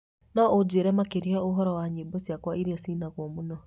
no ũnjĩĩre makĩria ũhoro wa nyĩmbo ciakwa ĩrĩa cinagwo muno?